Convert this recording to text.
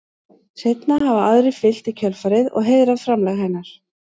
Seinna hafa aðrir fylgt í kjölfarið og heiðrað framlag hennar.